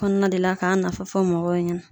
Kɔnɔna de la ka nafa fɔ mɔgɔw ɲɛna.